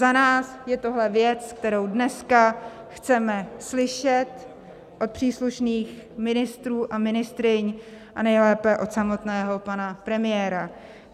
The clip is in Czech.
Za nás je tohle věc, kterou dneska chceme slyšet od příslušných ministrů a ministryň a nejlépe od samotného pana premiéra.